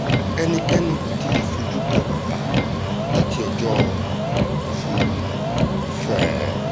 ẹnikẹ́ni kò tí ì fojú kan bàbà láti ọjọ́ furuufee